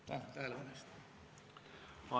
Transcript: Tänan tähelepanu eest!